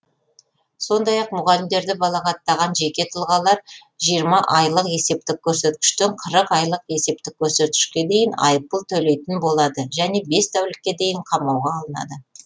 сондай ақ мұғалімдерді балағаттаған жеке тұлғалар жиырма айлық есептік көрсеткіштен қырық айлық есептік көрсеткішке дейін айыппұл төлейтін болады немесе бес тәулікке дейін қамауға алынады